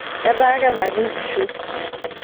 etaa kebaki inkishu